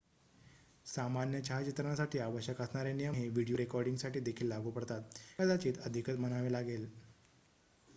सामान्य छायाचित्रणासाठी आवश्यक असणारे नियम हे व्हिडिओ रेकॉर्डिंगसाठी देखील लागू पडतात कदाचित अधिकच म्हणावे लागेल